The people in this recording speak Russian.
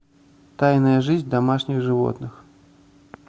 тайная жизнь домашних животных